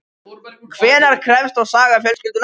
En hvenær hefst þá saga fjölskyldunnar?